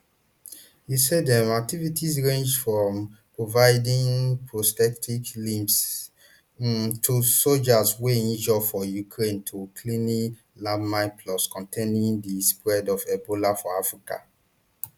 usaid um activities range from providing prosthetic limbs um to sojas wey injure for ukraine to clearing landmines plus containing di spread of ebola for africa